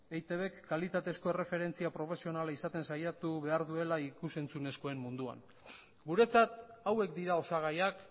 eitbk kalitatezko erreferentzia profesionala izaten saiatu behar duela ikus entzunezkoen munduan guretzat hauek dira osagaiak